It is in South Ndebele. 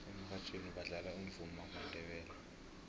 emurhatjhweni badlala umvumo wamandebele